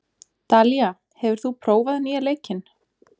Dalía, hefur þú prófað nýja leikinn?